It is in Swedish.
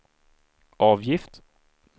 avgift